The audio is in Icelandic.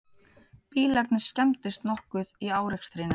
Bílarnir skemmdust nokkuð í árekstrinum